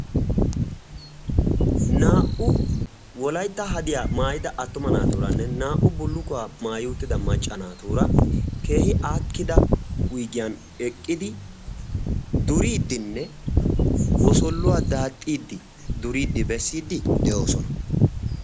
naa"u wolaytta hadiyaa maayida attuma naatuuranne naa"u bullukuwaa maayi utida macca naatuura keehi aakkida wuggiyan eqqidi duriiddinne wosoluwaa daaxxiiddi duriiddi bessiiddi de'oosona.